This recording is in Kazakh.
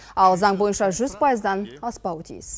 ал заң бойынша жүз пайыздан аспауы тиіс